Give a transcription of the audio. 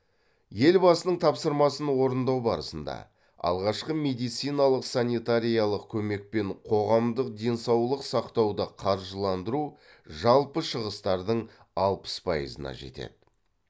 елбасының тапсырмасын орындау барысында алғашқы медициналық санитариялық көмек пен қоғамдық денсаулық сақтауды қаржыландыру жалпы шығыстардың алпыс пайызына жетеді